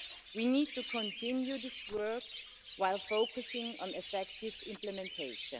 We need to continue this work, while focusing on effective implementation.